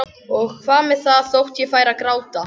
Og hvað með það þótt ég færi að gráta?